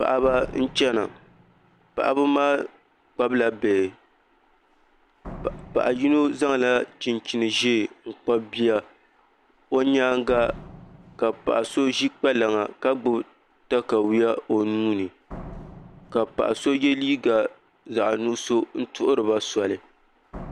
Paɣaba n chɛna paɣaba maa kpabila bihi paɣa yino zaŋla chinchin ʒiɛ n kpabi bia o nyaanga ka paɣa so ʒi kpalaŋa ka gbubi katawiya o nuuni ka paɣa so yɛ liiga zaɣ nuɣso n tuhuriba soli